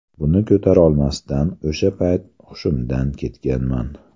Buni ko‘tarolmasdan o‘sha payt hushimdan ketganman.